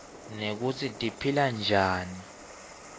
nekutsi tiphilanjani